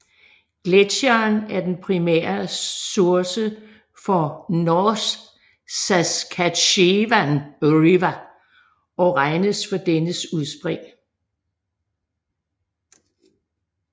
Gletsjeren er den primære source for North Saskatchewan River og regnes for dennes udspring